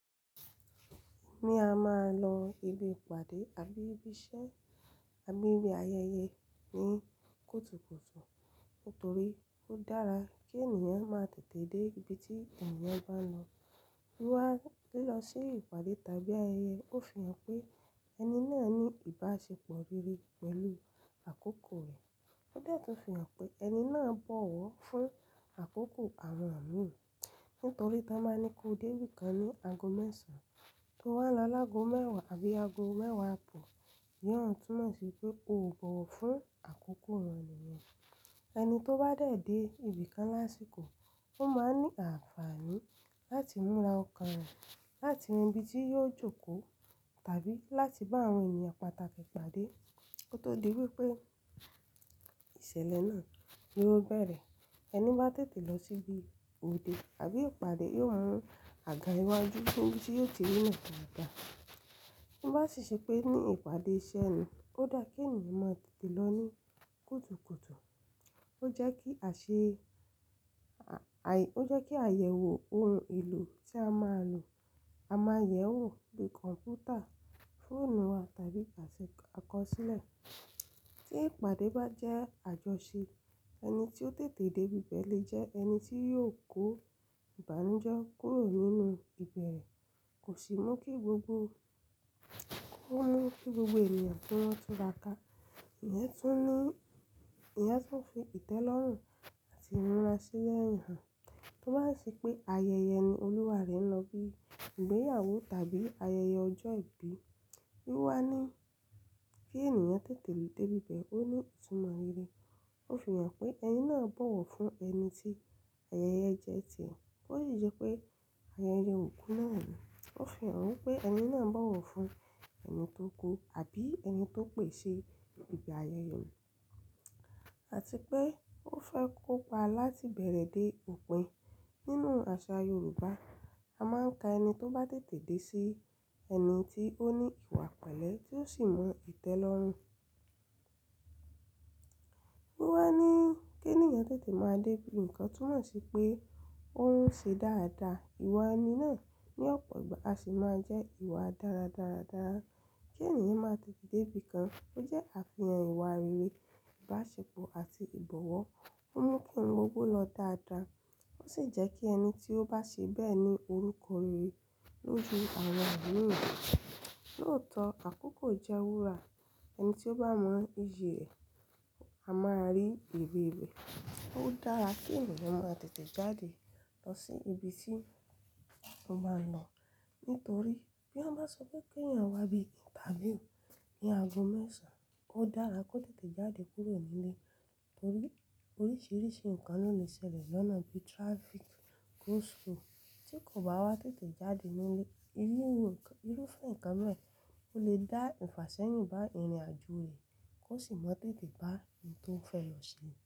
Mi a máa lọ ibi ìpàdé àbí ibi iṣẹ́ àbí ibi ayẹyẹ ní kùtùkùtù nítorí ó dára kí ènìyàn má tètè dé ibi tí ènìyàn bá ń lọ. Bí wà á lọ sí ìpàdé tàbí ayẹyẹ, ó fi hàn pé ẹni náà ní ìbáṣepọ̀ rere pẹ̀lú àkókò rẹ̀. Ó dẹ̀ tọ́ fi hàn pé ẹni náà bọ̀wọ̀ fún àkókò àwọn mìí nítorí tan bá ní kó dé ibi kan ní ago mẹ́sàn án tó wá lọ lágo mẹ́wàá àbí ago mẹ́wàá abọ̀, ìyẹn ó túnmọ̀ sí pé ó ò bọ̀wọ̀ fún àkókò àwọn ènìyàn. Ẹni tó bá tètè dé ibi kan lásìkò, ó máa ń ní àǹfààní láti múra ọkàn rẹ̀, láti rin ibi tí yóò jókòó tàbí láti bá àwọn ènìyàn pàtàkì pàdé kó tó di wípé ìṣẹ̀lẹ̀ náà ni ó bẹ̀rẹ̀. Ẹni bá tètè lọ síbi òde àbí ìpàdé yóò mú àga iwájú í n bí tí yóò ti rí nà dáadá. To bá sì ṣe pé ní ìpàdé iṣẹ́ ni, kó dáa kí ènìyàn má tètè lọ ní kùtùkùtù. Ó jẹ́ kí àṣe, a, àì, ó jẹ́ kí àyẹ̀wò ohun èlò tí a máa lò, a máa yẹ̀ wò bí kọ̀npútà, fóònù wa tàbí àṣẹ àkọsílẹ̀. Tí ìpàdé bá jẹ́ àjọṣe, ẹni tí ó tètè dé ibi bẹ́ẹ̀ lè jẹ́ ẹni tí yóò kó ìbànújẹ́ kúrò nínú ìbẹ̀rẹ̀. Kò sì mú kí gbogbo, kó mú kí gbogbo ènìyàn ki wọn túra ká. Ìyẹn tún ní, Ìyẹn tún fi ìtẹ́lọ́rùn àti ìríra sílẹ̀ hàn. Tó bá ṣe pé ayẹyẹ ni olúwa rẹ̀ ń lọ bí ìgbéyàwó tàbí ayẹyẹ ọjọ́ ìbí, bí wà ní kí ènìyàn tètè dé ibi bẹ́ẹ̀ ó ní ìtumọ̀ rere. Ó fi hàn pé ẹni náà bọ̀wọ̀ fún ẹni tí ayẹyẹ jẹ́ ti rẹ̀. Ó sì jẹ́ pé ayẹyẹ ò kú náà ni. Ó fi hàn pé ẹni náà bọ̀wọ̀ fún ẹni tó kú àbí ẹni tó pèsi ibi ayẹyẹ náà àti pé ó fẹ́ kópa láti bẹ̀rẹ̀ dé òpin. Nínú àṣà Yorùbá, a máa ń ka ẹni tó bá tètè dé sí ẹni tí ó ní ìwà pẹ̀lẹ́ tí ó sì mọ ìtẹ́lọ́rùn. Bí wà á ní kí ènìyàn tètè máa dé ibi nǹkan túnmọ̀ sí pé ó ń ṣe dáadáa. Iwa ẹni náà ní ọ̀pọ̀ ìgbà á sì máa jẹ́ ìwà dáradára dáa. Kí ènìyàn máa tètè dé ibi kan ó jẹ́ àfihàn ìwà rere, ìbáṣepọ̀ àti ìbọ̀wọ̀. Ó mú kí ohun gbogbo lọ dáadáa. Ó sì jẹ́ kí ẹni tí ó bá ṣe bẹ́ẹ̀ ní orúkọ rere lóju àwọn àwọn mìí. Lóòótọ́, àkókò jẹ́ wúrà. Ẹni tí ó bá mọ iye rẹ̀, a máa rí ère rẹ̀. Ó dára kí ènìyàn máa tètè jáde lọ sí ibi tí ó máa lọ nítorí bí wọ́n bá sọ pé kí àwọn wá bí interview ní ago mẹ́sàn án, ó dára kó tètè jáde kúrò nílé torí oríṣìíríṣìí nǹkan ló lè ṣẹlẹ̀ lọ́nà bí traffic, go-slow. Tí kò bá wá tètè jáde nílé, irú, irúfẹ́ nǹkan bẹ́ẹ́ o lè dá ìfàsẹ́yìn bá ìrìnàjò rẹ̀ kó sì mọ tètè bá ohun tó fẹ́ lọ ṣe.